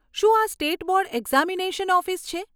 શું આ state board examination office છે?